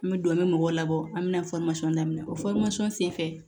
N bɛ don an bɛ mɔgɔw labɔ an bɛ na daminɛ o sen fɛ